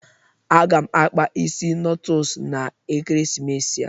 Aga m akpa isi notles na ekeresimesi a.